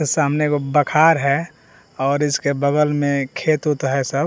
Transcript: सामने एगो बखार है और इसके बगल में खेत वोत है सब।